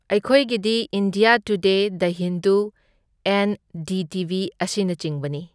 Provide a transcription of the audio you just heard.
ꯑꯩꯈꯣꯏꯒꯤꯗꯤ India today the Hindu, N D T V ꯑꯁꯤꯅꯆꯤꯡꯕꯅꯤ꯫